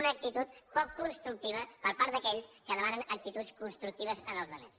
una actitud poc constructi va per part d’aquells que demanen actituds construc tives en els altres